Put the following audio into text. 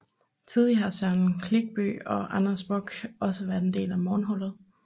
Tidligere har Søren Klinkby og Anders Bock også været en del af morgenholdet